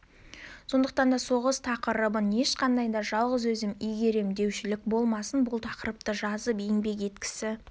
сондықтан да соғыс тақырыбын ешқандай да жалғыз өзім игерем деушілік болмасын бұл тақырыпты жазып еңбек еткісі